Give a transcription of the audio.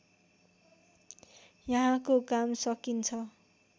यहाँको काम सकिन्छ